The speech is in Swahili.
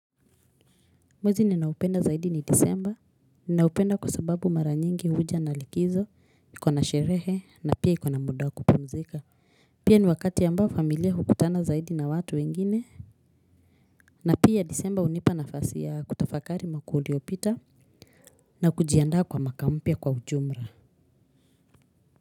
Mwezi ninaopenda zaidi ni Disemba, naupenda kwa sababu mara nyingi huja na likizo, iko na sherehe na pia iko na muda wa kupumzika. Pia ni wakati ambao familia hukutana zaidi na watu wengine, na pia Disemba hunipa nafasi ya kutafakari mwaka uliopita na kujiandaa kwa mwaka mpya kwa ujumla.